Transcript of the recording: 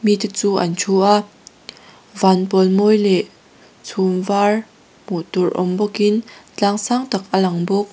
chu an thu a vanpawl mawi leh chhum var hmuhtur awm bawkin tlang saktak a langbawk.